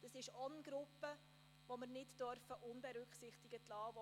Auch letztere Gruppe dürfen wir nicht unberücksichtigt lassen.